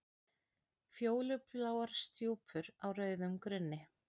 Fjólubláar stjúpur á rauðum grunni.